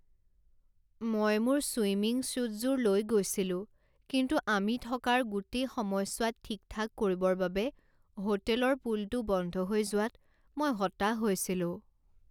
মই মোৰ ছুইমিং ছ্যুটযোৰ লৈ গৈছিলো কিন্তু আমি থকাৰ গোটেই সময়ছোৱাত ঠিক ঠাক কৰিবৰ বাবে হোটেলৰ পুলটো বন্ধ হৈ যোৱাত মই হতাশ হৈছিলোঁ।